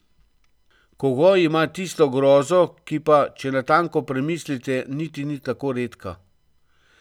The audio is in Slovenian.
Kogoj ima tisto grozo, ki pa, če natanko premislite, niti ni tako redka.